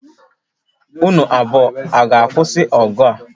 Unu abụọ ọ ga-akwụsị ọgụ a?